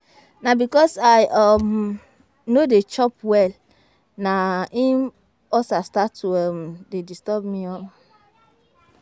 Na because I um no dey chop well na im ulcer start to um dey do me um